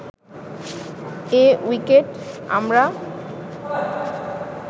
এ wicket আমরা